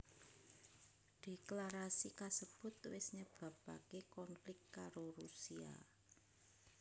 Dhéklarasi kasebut wis nyebabaké konflik karo Rusia